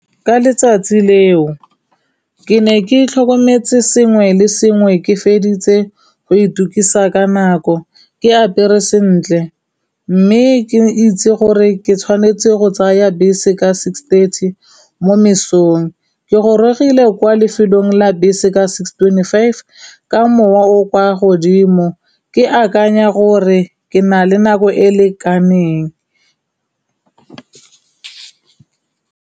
Ka letsatsi leo ke ne ke tlhokometse sengwe le sengwe ke feditse go itukisa ka nako, ke apere sentle, mme ke itse gore ke tshwanetse go tsaya bese ka six thirthy mo mesong. Ke gorogile kwa lefelong la bese ka six twenty five, ka mowa o o kwa godimo, ke akanya gore ke na le nako e lekaneng.